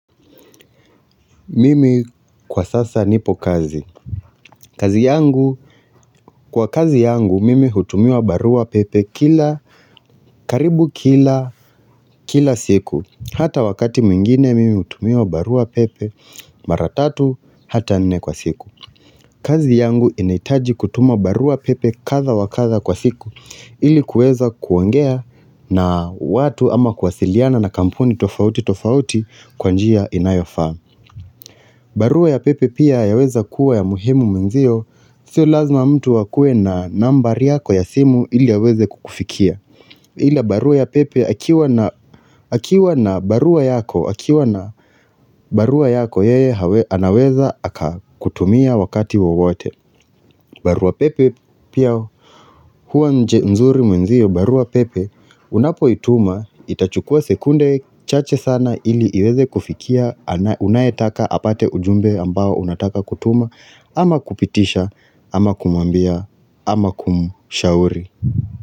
Mimi kwa sasa nipo kazi. Kazi yangu, kwa kazi yangu, mimi hutumiwa barua pepe kila, karibu kila, kila siku. Hata wakati mwingine, mimi hutumiwa barua pepe mara tatu, hata nne kwa siku. Kazi yangu inahitaji kutuma barua pepe kadha wakadha kwa siku ili kuweza kuongea na watu ama kuwasiliana na kampuni tofauti tofauti kwa njia inayofaa. Barua ya pepe pia yaweza kuwa ya muhimu mwenzio, sio lazima mtu akue na nambari yako ya simu ili aweze kukufikia. Ila barua ya pepe akiwa na barua yako, akiwa na barua yako yeye anaweza akakutumia wakati wowote barua pepe pia huwa nje nzuri mwenzio barua pepe Unapo ituma itachukua sekunde chache sana ili iweze kufikia ana unaetaka apate ujumbe ambao unataka kutuma ama kupitisha ama kumwambia ama kumshauri.